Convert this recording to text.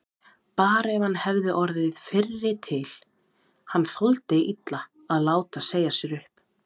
Bara ef hann hefði orðið fyrri til, hann þoldi illa að láta segja sér upp.